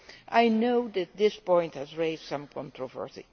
I know this point has raised some controversy.